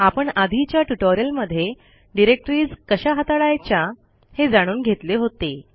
आपण आधीच्या ट्युटोरियलमध्ये डिरेक्टरीज कशा हाताळायच्या हे जाणून घेतले होते